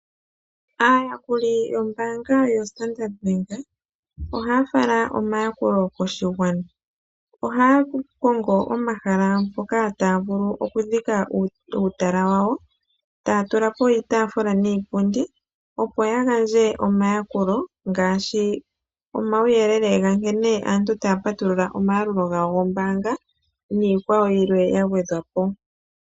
Aayakuli yombaanga yo Standard Bank ohaya fala omayakulo koshigwana, ohaya kongo pomahala mpoka taya vulu okudhika uutala wawo. Taya tula po iitafula niipundi, opo ya gandje omayakulo ngaashi omauyelele ga nkene aantu taya patulula omayalulo gawo gombaanga, niikwawo yilwe ya gwedhwa po.